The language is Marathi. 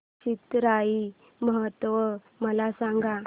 चिथिराई महोत्सव मला सांग